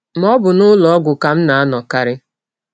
Ma, ọ bụ n’ụlọ ọgwụ ka m na - anọkarị.